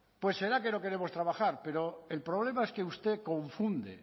pues será que no queremos trabajar pero el problema es que usted confunde